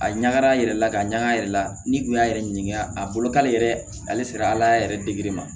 A ɲagara a yɛrɛ la ka ɲaga yɛrɛ la n'i kun y'a yɛrɛ ɲininka a bolo k'ale yɛrɛ ale sera ala yɛrɛ dege ma